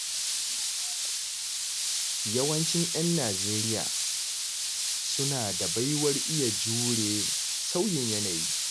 Yawancin 'yan Nijeriya suna da baiwar iya jure sauyin yanayi.